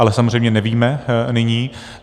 Ale samozřejmě nevíme nyní.